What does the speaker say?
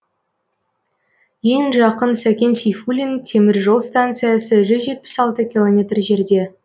ең жақын сәкен сейфуллин темір жол станциясы жүз жетпіс алты километр жерде